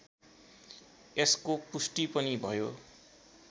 यसको पुष्टि पनि भयो